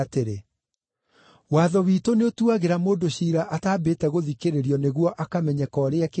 “Watho witũ nĩũtuagĩra mũndũ ciira ataambĩte gũthikĩrĩrio nĩguo akamenyeka ũrĩa ekĩte?”